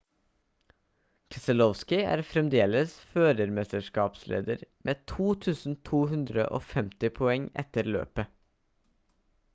keselowski er fremdeles førermesterskapsleder med 2250 poeng etter løpet